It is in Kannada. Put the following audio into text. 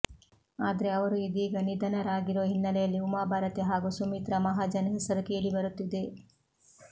ಆದ್ರೆ ಅವರು ಇದೀಗ ನಿಧನರಾಗಿರೋ ಹಿನ್ನೆಲೆಯಲ್ಲಿ ಉಮಾಭಾರತಿ ಹಾಗೂ ಸುಮಿತ್ರಾ ಮಹಾಜನ್ ಹೆಸರು ಕೇಳಿಬರುತ್ತಿದೆ